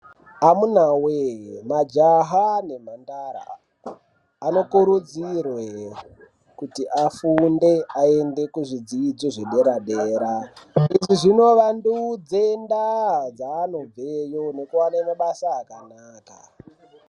Amunawe majaha nemhandara anokurudzirwe kuti afunde ayende kuzvidzidzo zvedera dera. Izvi zvinovandudza ndaa dzanobveyo nekuwana mabasa akanaka